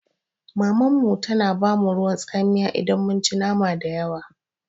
Mamanmu tana ba mu ruwan tsamiya idan mun ci nama dayawa.